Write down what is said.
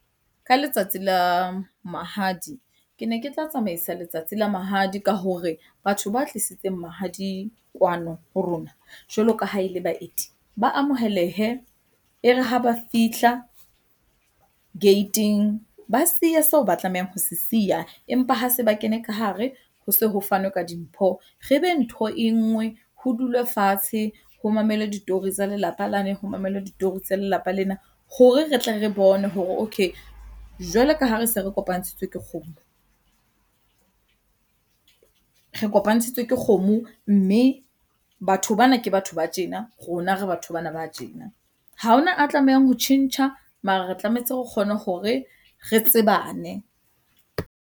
Ka letsatsi la mahadi ke ne ke tla tsamaisa letsatsi la mahadi ka hore batho ba tlisitseng mahadi kwano ho rona jwalo ka ha e le baeti ba amohelehe. E re ha ba fihla gate-ing, ba siya seo ba tlamehang ho se siya. Empa ha se ba kene ka hare, ho se ho fanwe ka dimpho, re be ntho e nngwe. Ho dulwe fatshe, ho mamelwe ditori tsa lelapa lane, ho mamelwe ditori tsa lelapa lena hore re tle re bone hore okay, jwalo ka ha re se re kopantshitswe ke kgomo, re kopantshitswe ke kgomo. Mme batho bana ke batho ba tjena, rona re batho bana ba tjena. Ha hona a tlamehang ho tjhentjha, mara re tlametse re kgone hore re tsebane.